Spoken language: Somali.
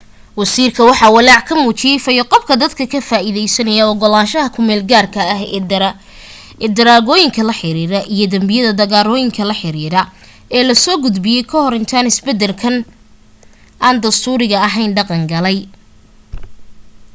wasiirka waxa walaac ka muujiyay fayo-qabka dadka ka faa'iideysanaa ogolaanshaha ku meel-gaarka ah ee daroogooyinka la xiriira iyo danbiyada daroogada la xiriiray ee la soo gudbiyay ka hor intaan isbedelkan aan dastuuriga ahayn dhaqan galay